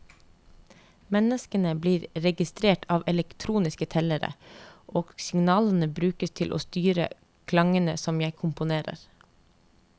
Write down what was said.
Menneskene blir registrert av elektroniske tellere, og signalene brukes til å styre klangene som jeg komponerer.